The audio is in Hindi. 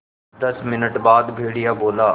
दस मिनट बाद भेड़िया बोला